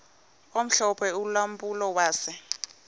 omhlophe ulampulo wase